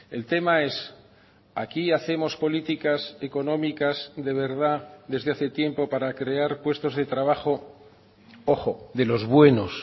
el tema es aquí hacemos políticas económicas de verdad desde hace tiempo para crear puestos de trabajo ojo de los buenos